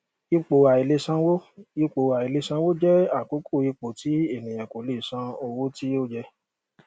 ipò aìlèsanwó ipò aìlèsanwó jẹ àkókò ipò tí ènìyàn kò lè san owó tí ó yẹ